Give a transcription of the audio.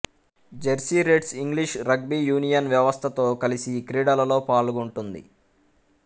Jersey Reds English rugby union వ్యవస్థతో కలిసి క్రీడలలో పాల్గొంటుంది